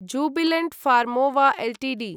Jubilant Pharmova Ltd